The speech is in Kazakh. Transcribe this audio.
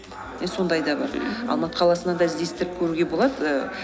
сондай да бар алматы қаласынан да іздестіріп көруге болады ы